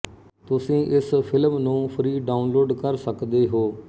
ਤੁਸੀਂ ਇਸ ਫਿਲਮ ਨੂੰ ਫ੍ਰੀ ਡਾਊਨਲੋਡ ਕਰ ਸਕਦੇ ਹੋ